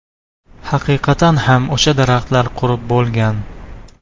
Haqiqatan ham o‘sha daraxtlar qurib bo‘lgan.